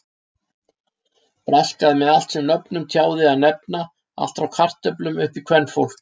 Braskaði með allt sem nöfnum tjáði að nefna, allt frá kartöflum upp í kvenfólk!